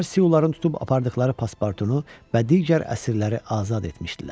Onlar siyuların tutub apardıqları pasportunu və digər əsirləri azad etmişdilər.